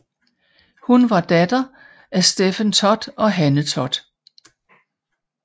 Hun var datter til af Stephen Todd og Hanne Todd